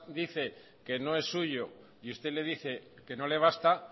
dice que no es suyo y usted le dice que no le basta